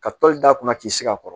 Ka toli da kunna k'i sigi a kɔrɔ